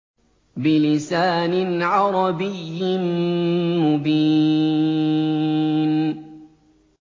بِلِسَانٍ عَرَبِيٍّ مُّبِينٍ